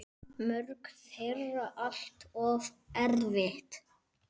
Mörg þeirra allt of erfið.